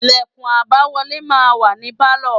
Lẹ̀kùn àbáwọlé máa ń wà ní Pálọ̀.